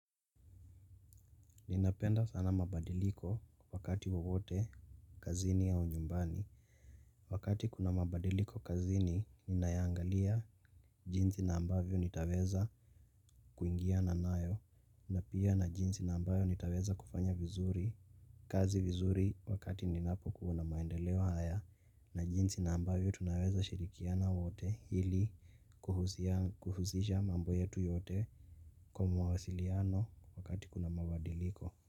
Ninapenda sana mabadiliko wakati wowote kazini au nyumbani. Wakati kuna mabadiliko kazini, ninayaangalia jinsi na ambavyo nitaweza kuingiana nayo. Na pia na jinsi na ambayo nitaweza kufanya vizuri, kazi vizuri wakati ninapokuwa na maendeleo haya. Na jinsi na ambavyo tunaweza shirikiana wote ili kuhusisha mambo yetu yote kwa mawasiliano wakati kuna mabadiliko.